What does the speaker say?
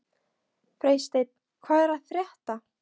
Freysteinn, hvað er að frétta?